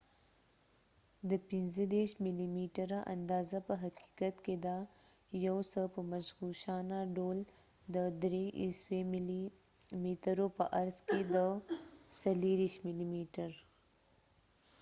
د ۳۵ ملي ميټره اندازه په حقیقت کې ده، یو څه په مغشوشانه ډول، د ۳۶ ملي مترو په عرض کې د ۲۴ ملي میتر۔